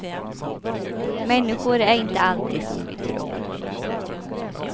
Människor är inte alltid som vi tror.